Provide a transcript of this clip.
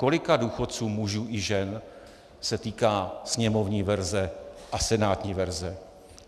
Kolika důchodců, mužů i žen, se týká sněmovní verze a senátní verze?